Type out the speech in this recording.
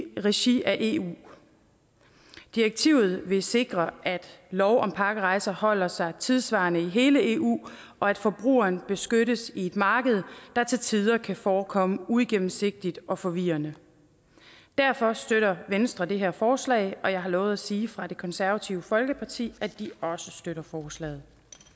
regi af eu direktivet vil sikre at lov om pakkerejser holder sig tidssvarende i hele eu og at forbrugeren beskyttes i et marked der til tider kan forekomme uigennemsigtigt og forvirrende derfor støtter venstre det her forslag og jeg har lovet at sige fra det konservative folkeparti at de også støtter forslaget